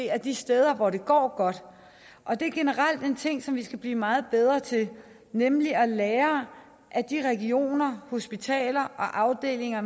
af de steder hvor det går godt og det er generelt en ting som vi skal blive meget bedre til nemlig at lære af de regioner hospitaler og afdelinger